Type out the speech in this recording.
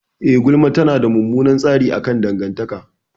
Eh, gulma tana da mummunan tasiri akan dangantaka.